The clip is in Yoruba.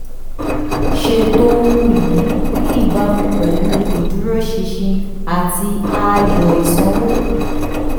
ṣètò ohun ìní ní ìbámu pẹ̀lú ìdúróṣinṣin àti ààyò ìsanwó.